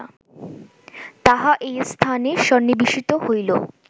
তাহা এই স্থানে সন্নিবেশিত হইল